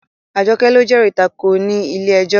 Àjọkẹ́ ló jẹ́rìí tako ní ilé ẹjọ́